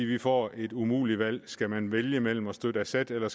vi får et umuligt valg skal man vælge mellem at støtte assad eller